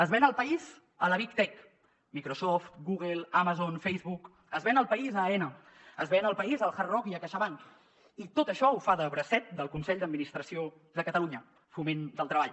es ven el país a la big tech microsoft google amazon facebook es ven el país a aena es ven el país al hard rock i a caixabank i tot això ho fa de bracet del consell d’administració de catalunya foment del treball